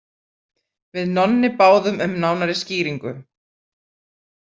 Við Nonni báðum um nánari skýringu.